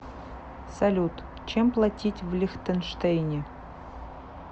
салют чем платить в лихтенштейне